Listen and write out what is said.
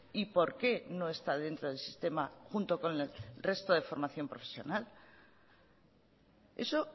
y por qué no está dentro del sistema junto con el resto de formación profesional eso